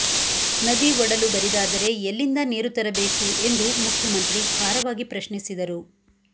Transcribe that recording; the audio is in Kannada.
ನದಿ ಒಡಲು ಬರಿದಾದರೆ ಎಲ್ಲಿಂದ ನೀರು ತರಬೇಕು ಎಂದು ಮುಖ್ಯಮಂತ್ರಿ ಖಾರವಾಗಿ ಪ್ರಶ್ನಿಸಿದರು